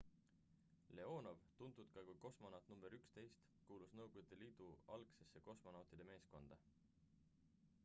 leonov tuntud ka kui kosmonaut nr 11 kuulus nõukogude liidu algsesse kosmonautide meeskonda